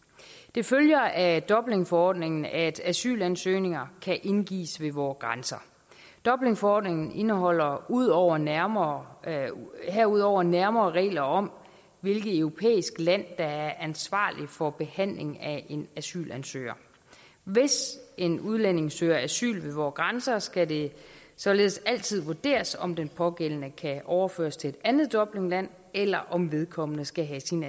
det følger af dublinforordningen at asylansøgninger kan indgives ved vore grænser dublinforordningen indeholder herudover nærmere herudover nærmere regler om hvilket europæisk land der er ansvarligt for behandlingen af en asylansøgning hvis en udlænding søger asyl ved vore grænser skal det således altid vurderes om den pågældende kan overføres til et andet dublinland eller om vedkommende skal have sin